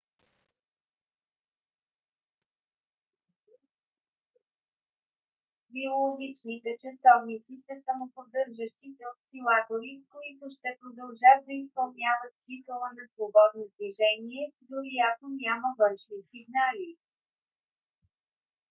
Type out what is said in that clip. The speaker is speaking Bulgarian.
биологичните часовници са самоподдържащи се осцилатори които ще продължат да изпълняват цикъла на свободно движение дори ако няма външни сигнали